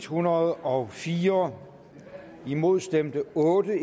hundrede og fire imod stemte otte